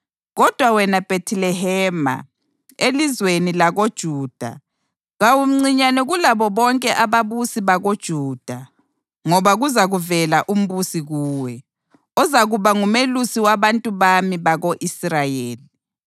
‘Kodwa wena Bhethilehema, elizweni lakoJuda, kawumncinyane kulabo bonke ababusi bakoJuda; ngoba kuzavela umbusi kuwe, ozakuba ngumelusi wabantu bami bako-Israyeli.’ + 2.6 UMikha 5.2”